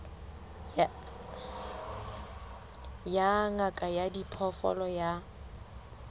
ya ngaka ya diphoofolo ya